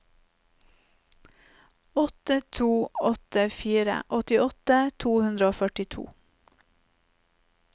åtte to åtte fire åttiåtte to hundre og førtito